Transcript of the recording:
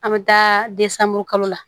An bɛ taa de san muguru kalo la